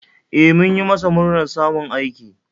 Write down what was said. E, mun yi masa murnar samun aiki